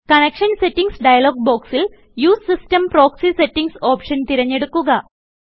connection settings dialogue ബോക്സിൽ U S E system proxy settings option തിരഞ്ഞെടുക്കുക